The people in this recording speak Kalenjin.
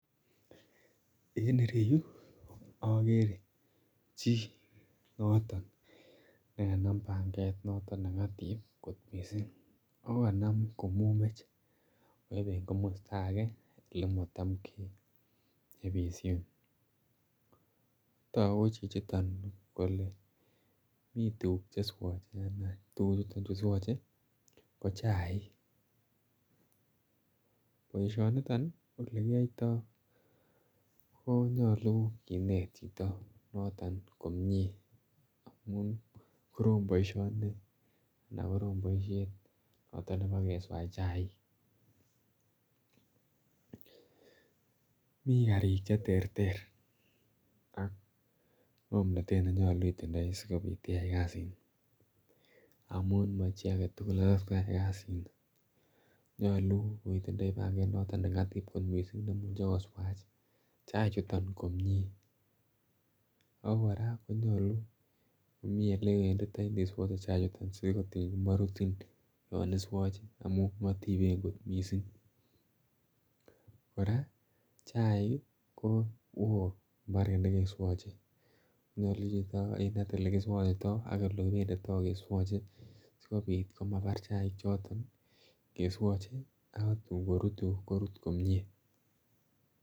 en ireyu okere jii noton nekenam panget noton nengatip kot missing oo kanam komumech, kayeben komosto ake ole matam keyepishen tokuu ko jijiton kole mitukuk jeswoje oo tukujuton juu swoje ko chaik poishoniton ko ole kiyoyto konyolu kinet jito noton komie amun koroom boishoni anan koroom boishet noton nepoo keswaj chaik mii karik je terter ak ngomnotet nenyolu itindoi sikopit iyai kasini amun mo jii aketukul netot koyai kasini nyoluu koitindoi panget noton nengatip kot mising nemujee koswaj chai juton komie oo koraa konyoluu komii ole iwenditoi iniswojee chai juton simorutin yon iswoje amun ngotipen kot mising koraa chaik ii kowoo mbaret nekeswojee nyoluu jito yan kerinet olekiswoktitoo ak ole kipenditoo keswojee sikopit